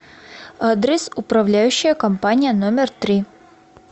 адрес управляющая компания номер три